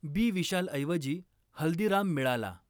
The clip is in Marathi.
बी विशालऐवजी हल्दीराम मिळाला.